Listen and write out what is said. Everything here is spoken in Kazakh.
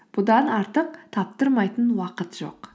бұдан артық таптырмайтын уақыт жоқ